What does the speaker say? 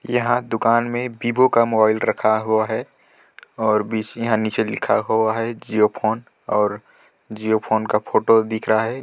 यहाँ दुकान मे वीवो का मोबाईल रखा हुआ है और नीचे लिखा हुआ है जिओ फोन और जिओ फोन का फोटो दिख रहा है।